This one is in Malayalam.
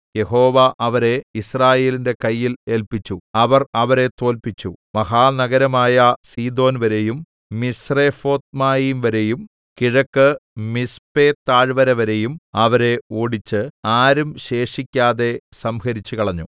യഹോവ അവരെ യിസ്രായേലിന്റെ കയ്യിൽ ഏല്പിച്ചു അവർ അവരെ തോല്പിച്ചു മഹാനഗരമായ സീദോൻവരെയും മിസ്രെഫോത്ത്മയീം വരെയും കിഴക്ക് മിസ്പെതാഴ്‌വരവരെയും അവരെ ഓടിച്ച് ആരും ശേഷിക്കാതെ സംഹരിച്ചുകളഞ്ഞു